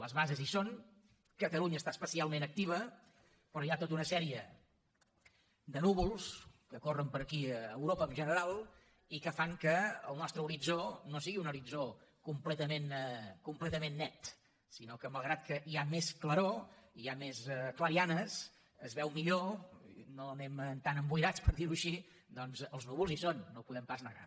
les bases hi són catalunya està especialment activa però hi ha tota una sèrie de núvols que corren per aquí a europa en general i que fan que el nostre horitzó no sigui un horitzó completament net sinó que malgrat que hi ha més claror hi ha més clarianes s’hi veu millor no anem tan emboirats per dir ho així els núvols hi són no ho podem pas negar